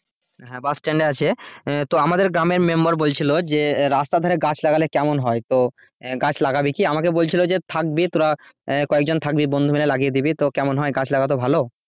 হ্যাঁ bus stand এ আছে তো আমাদের গ্রামের member বলছিলো যে রাস্তার ধারে গাছ লাগালে কেমন হয় তো গাছ লাগাবি কি আমাকে বলছিলো যে থাকবি তুরা কয়েকজন থাকবি বন্ধু মিলে লাগিয়ে দিবি কেমন হয় গাছ লাগাতো ভালো,